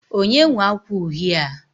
onye nwe akwa uhie a?